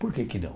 Por que que não?